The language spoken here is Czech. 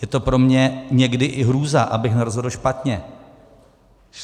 Je to pro mě někdy i hrůza, abych nerozhodl špatně.